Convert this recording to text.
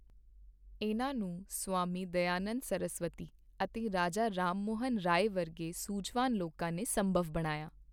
ਇਨ੍ਹਾਂ ਨੂੰ ਸਵਾਮੀ ਦਇਆਨੰਦ ਸਰਸਵਤੀ ਅਤੇ ਰਾਜਾ ਰਾਮਮੋਹਨ ਰਾਏ ਵਰਗੇ ਸੂਝਵਾਨ ਲੋਕਾਂ ਨੇ ਸੰਭਵ ਬਣਾਇਆ।